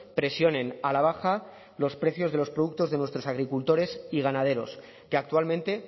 presionen a la baja los precios de los productos de nuestros agricultores y ganaderos que actualmente